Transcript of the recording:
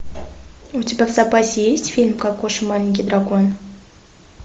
у тебя в запасе есть фильм кокоша маленький дракон